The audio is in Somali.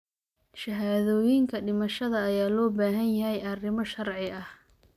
Shahaadooyinka dhimashada ayaa loo baahan yahay arrimo sharci ah.